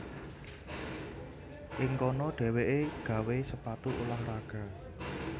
Ing kono dhéwéké gawé sepatu ulah raga